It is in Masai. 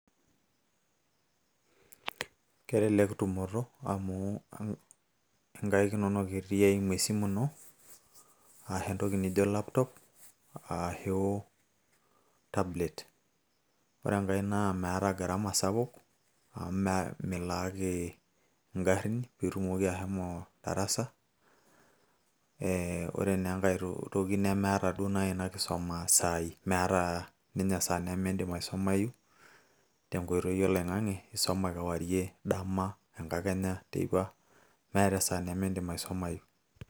Kelelek tumoto amu nkaik inonok etii eimu esimu ino, ashu entoki nijo laptop ,ashu entoki naijo tablet. Ore enkae naa meeta gharama sapuk, amu milaaki igarrin, pitumoki ashomo ataasa. Eh Ore na enkae toki nemeeta duo nai inakisoma saii. Meeta ninye esaa nimidim aisumayu, tenkoitoi oloing'ang'e, isuma kewarie ,dama, tenkakenya, teipa, metaa esaa nimidim aisumayu.